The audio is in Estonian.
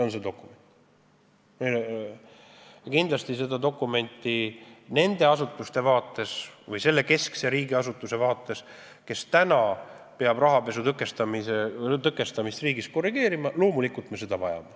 Loomulikult keskne riigiasutus, kes peab rahapesu tõkestamist riigis korrigeerima, seda dokumenti vajab.